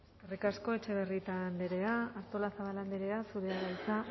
eskerrik asko etxebarrieta andrea artolazabal andrea zurea da hitza